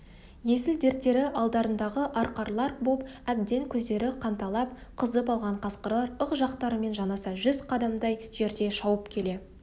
есіл-дерттері алдарындағы арқарлар боп әбден көздері қанталап қызып алған қасқырлар ық жақтарымен жанаса жүз қадамдай жерде шауып келе